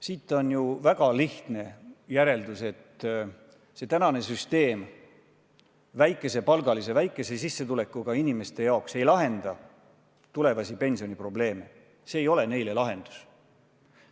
Siit saab teha väga lihtsa järelduse: tänane süsteem ei lahenda väikese sissetulekuga inimeste tulevasi pensioniprobleeme, see ei ole nende jaoks lahendus.